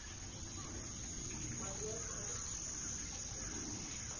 madi a a kana ka